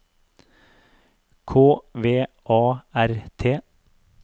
K V A R T